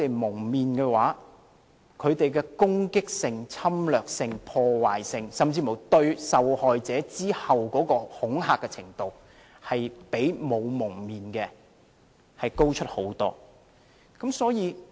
蒙了面後，他們的攻擊性、侵略性、破壞力，甚至對受害者的恐嚇程度，比沒有蒙面的高出很多。